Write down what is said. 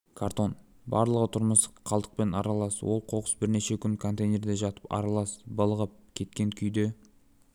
картон барлығы тұрмыстық қалдықпен аралас ол қоқыс бірнеше күн контейнерде жатып аралас былығып кеткен күйде